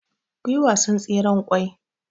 kuyi wasan tseren kwai